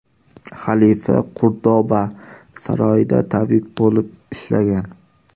Xalifa Qurdoba saroyida tabib bo‘lib ishlagan.